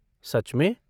सच में!?